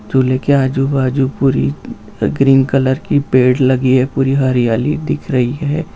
झूले के आजूबाजू पूरी ग्रीन कलर की पेड़ लगी है पूरी हरियाली दिख रही है।